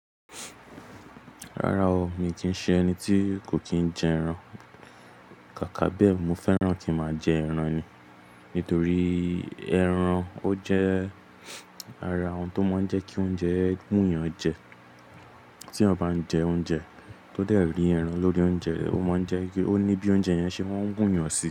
Rárá o, mi kì í ṣe ẹni tí kò kí ń jẹ ẹran. Kàkà bẹ́ẹ̀, mo fẹ́ràn kí máa jẹ ẹran ni. Nítorí ẹran ó jẹ́ ara òun tó máa ń jẹ́ kí oúnjẹ wu èèyàn yàn jẹ. Tí ọ bá ń jẹ oúnjẹ tó dẹ̀ rí ẹran lórí oúnjẹ, ó máa ń jẹ́ kí ó ní bí oúnjẹ yẹn ṣe máa ń wu èèyàn sí.